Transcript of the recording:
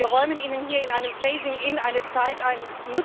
Wir räumen Ihnen hier in einem phasing in eine Zeit ein.